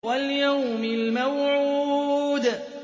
وَالْيَوْمِ الْمَوْعُودِ